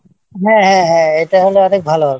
হ্যাঁ হ্যাঁ এটা হলে অনেক ভালো হবে